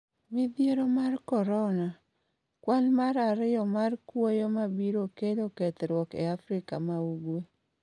Midhiero mar Korona: Kwan mar ariyo mar kuoyo mabiro kelo kethruok e Afrika ma Ugwe